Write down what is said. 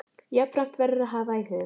Jafnframt verður að hafa í huga